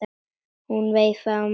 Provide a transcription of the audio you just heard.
Hún veifaði á móti.